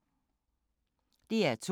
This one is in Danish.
DR2